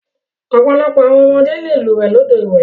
Ọ̀pọ̀lọpọ̀ àwọn ọmọdé le lúwẹ̀ẹ́ lódò ìwẹ̀.